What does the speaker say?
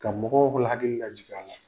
Ka mɔgɔw bol hakili lajig'a la.